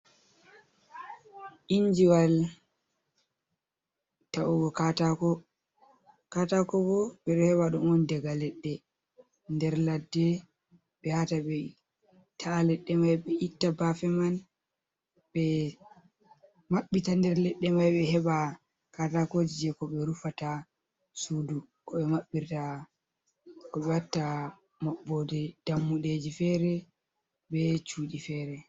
Injiwal ta’ugo katako, katako bo ɓe ɗo heba ɗum daga leɗɗe nder ladde ɓe yahata ɓe ta’a leɗɗe mai be itta bafe man ɓe maɓɓita nder leɗɗe mai ɓe heɓa katakoji, je ko ɓe rufata sudu, ko ɓe maɓɓirta, watta maɓɓode dammudeji fere be cuɗi fere.